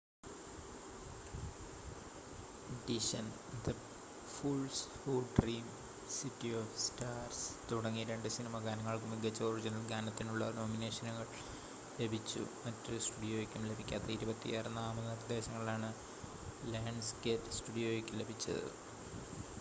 ഡിഷൻ the fools who dream city of stars തുടങ്ങി രണ്ട് cinema ഗാനങ്ങൾക്ക് മികച്ച ഒറിജിനൽ ഗാനത്തിനുള്ള നോമിനേഷനുകൾ ലഭിച്ചു. മറ്റൊരു സ്റ്റുഡിയോയ്ക്കും ലഭിക്കാത്ത 26 നാമനിർദ്ദേശങ്ങളാണ് ലയൺസ്‌ഗേറ്റ് സ്റ്റുഡിയോയ്ക്ക് ലഭിച്ചത്